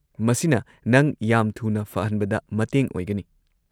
ꯃꯁꯤꯅ ꯅꯪ ꯌꯥꯝ ꯊꯨꯅ ꯐꯍꯟꯕꯗ ꯃꯇꯦꯡ ꯑꯣꯏꯒꯅꯤ꯫